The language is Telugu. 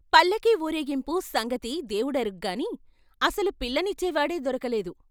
పిల్లకి ఊరేగింపు సంగతి దేవుడెరుగు కాని, అసలు పిల్లనిచ్చేవాడే దొరకలేదు.